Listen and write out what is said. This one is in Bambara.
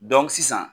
sisan